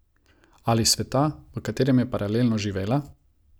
Ali s sveta, v katerem je paralelno živela?